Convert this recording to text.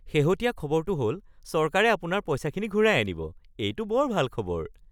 শেহতীয়া খবৰটো হ'ল চৰকাৰে আপোনাৰ পইচাখিনি ঘূৰাই আনিব। এইটো বৰ ভাল খবৰ। (বন্ধু ২)